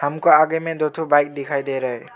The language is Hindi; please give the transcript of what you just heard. हमको आगे में दो ठो बाइक दिखाई दे रहा है।